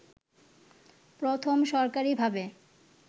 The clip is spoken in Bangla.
প্রথম সরকারিভাবে